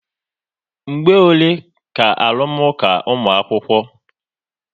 Mgbe ole ka arụmụka ụmu̻akwukwo?